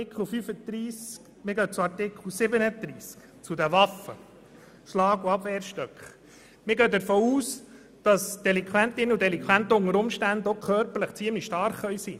Jetzt zu Artikel 37: Delinquentinnen und Delinquenten können bisweilen körperlich sehr stark sein.